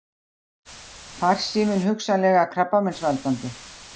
Farsími hugsanlega krabbameinsvaldandi